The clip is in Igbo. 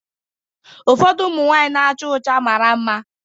Ụfọdụ ụmụ nwanyị mara mma mara mma.